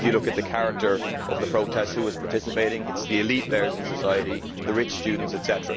If you look at the character of the protests who is participating it is the elite layers in society, the rich students, etc.